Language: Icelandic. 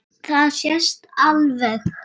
Það sést alveg.